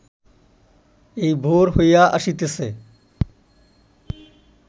এই ভোর হইয়া আসিতেছে